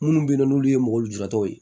Minnu bɛ yen n'olu ye mɔgɔ lujuratɔw ye